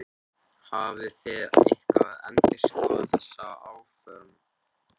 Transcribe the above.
Sunna: Hafið þið eitthvað endurskoðað þessi áform?